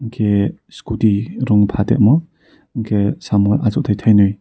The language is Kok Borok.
hingke scooty rong paltingmo hingke samo asoktai tainui.